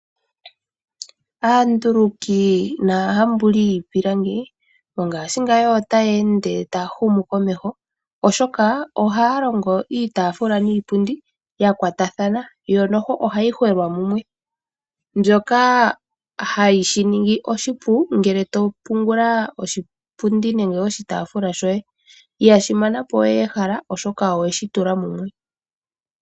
Aanduluki nahambuli yiipilangi mongashingeyi otaye ende ta humu komeho, oshoka oha longo iitafula niipundi ya kwatathana yo nohayi tulwa mumwe, shoka hashi yi ningi oshipu ngele to pungula oshipundi nenge oshitafula shoye. Ihashi mana po ehala oshoka oweshi tula mumwe.